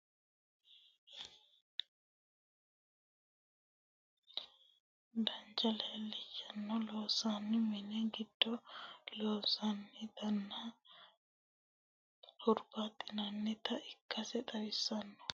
Durishamme shakilunni woyi angate loonsonni bacichinni loonsonitta bacichini omolichunni, tene durishamme dancha leemichunni loonsonni mini gido loonsoonittanna hur'baxxinanita ikkase xawisanno